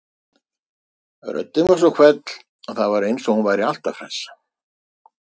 Röddin var svo hvell að það var eins og hún væri alltaf hress.